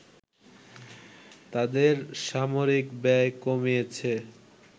তাদের সামরিক ব্যয় কমিয়েছে